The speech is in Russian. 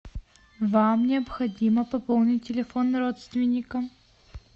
вам необходимо пополнить телефон родственника